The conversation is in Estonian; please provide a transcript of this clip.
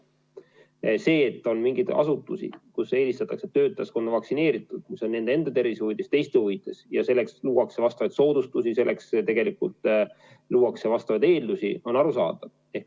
On arusaadav, et on mingeid asutusi, kus eelistatakse töötajaskonna vaktsineeritust, mis on nii nende enda tervise huvides kui ka teiste huvides, ja selleks luuakse teatud soodustusi.